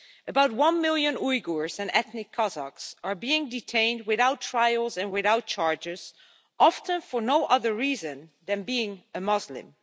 About one million Uyghurs and ethnic Kazakhs are being detained without trial and without charges, often for no other reason than being a Muslim.